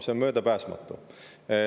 See on möödapääsmatu.